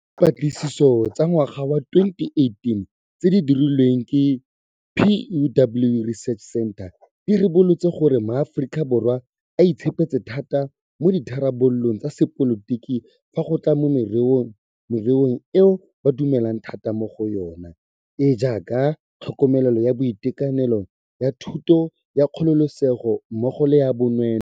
Dipatlisiso tsa ngwaga wa 2018 tse di dirilweng ke Pew Research Center di ribolotse gore maAforika Borwa a itshepetse thata mo ditharabololong tsa sepolotiki fa go tla mo mererong eo ba dumelang thata mo go yona, e e jaaka ya tlhokomelo ya boitekanelo, ya thuto, ya kgololesego mmogo le ya bonweenwee.